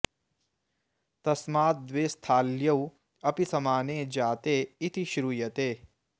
तस्मात् द्वे स्थाल्यौ अपि समाने जाते इति श्रूयते